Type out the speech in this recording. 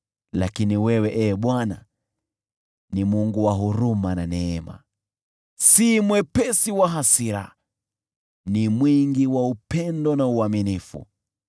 Lakini wewe, Ee Bwana , ni Mungu wa huruma na neema, si mwepesi wa hasira, bali ni mwingi wa upendo na uaminifu.